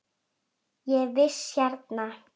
Ég er í vist hérna.